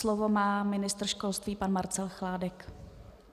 Slovo má ministr školství pan Marcel Chládek.